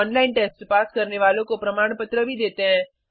online test pass करने वालों को प्रमाणपत्र भी देते हैं